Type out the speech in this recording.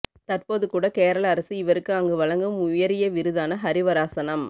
தற்போது கூட கேரளா அரசு இவருக்கு அங்கு வழங்கும் உயரிய விருதான ஹரிவராசனம்